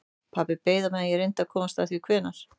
Pabbi beið á meðan ég reyndi að komast að því hvenær